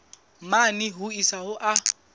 mane ho isa ho a